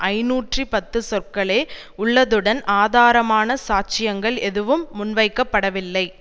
ஐநூற்றி பத்து சொற்களே உள்ளதுடன் ஆதாரமான சாட்சியங்கள் எதுவும் முன்வைக்கப்படவில்லை